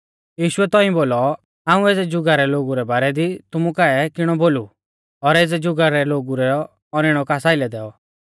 यीशुऐ तौंइऐ बोलौ हाऊं एज़ै जुगा रै लोगु रै बारै दी तुमु काऐ किणौ बोलु और एज़ै जुगा रै लोगु रौ औनैणौ कास आइलै दैऔ